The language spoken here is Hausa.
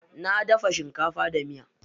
Na daga shinkafa da miya.